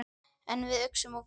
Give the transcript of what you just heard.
En við uxum úr grasi.